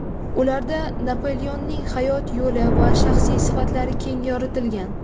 Ularda Napoleonning hayot yo‘li va shaxsiy sifatlari keng yoritilgan.